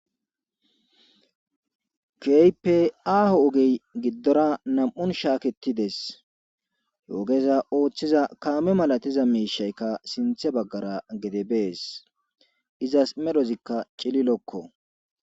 keype aaho ogey giddora nam7un shaaketides he ogeza ooththiza kaame malatiza miishaykka sinthe baggara gede bees izas medhozikka cililokko